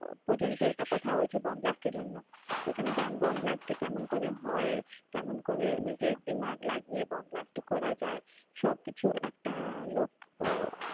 পর্যন্ত একটা কথা হয়েছে বোম ব্লাস্টের জন্য এখানে বোম ব্লাস্ট কেমন করে হয় কেমন করে নিজের দিমাগ লাগিয়ে বোম ব্লাস্ট করা যায় সবকিছু একটা লোক, আহ